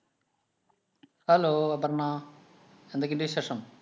Hello Aparna, എന്തൊക്കെയുണ്ട് വിശേഷം?